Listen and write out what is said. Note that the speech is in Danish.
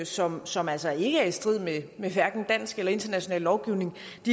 som som altså ikke er i strid med hverken dansk eller international lovgivning